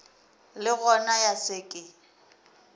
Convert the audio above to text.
le gona ya se ke